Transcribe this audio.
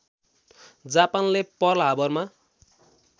जापानले pearl हार्बरमा